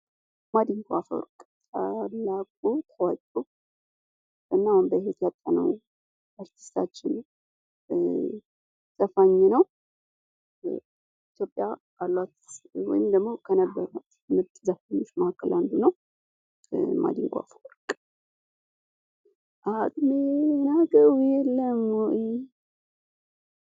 ማንዲንጎ አፈርወርቅ ታላቁ ታዋቂዉ እና አሁን በህይወት ያጣነዉን አርቲስታችን ዘፋኝ ነዉ። ኢትዮጵያ ካሏት ወይም ደግሞ ከነበሯት ምርጥ ዘፋኞች መካከል አንዱ ነዉ። ማዲንጎ አፈወርቅ! "አቅሜን አዉቀዉ አይይ"(በዜማ)